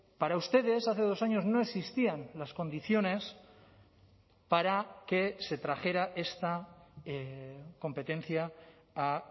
para ustedes hace dos años no existían las condiciones para que se trajera esta competencia a